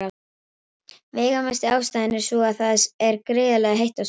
Veigamesta ástæðan er sú að það er gríðarlega heitt á sólinni.